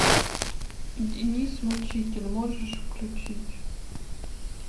деннис мучитель можешь включить